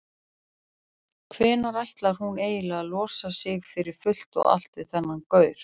Hvenær ætlar hún eiginlega að losa sig fyrir fullt og allt við þennan gaur?